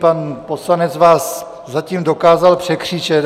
Pan poslanec vás zatím dokázal překřičet.